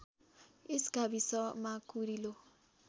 यस गाविसमा कुरिलो